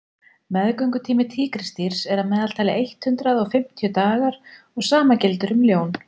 meðgöngutími tígrisdýrs er að meðaltali eitt hundruð og fimm dagar og sama gildir um ljón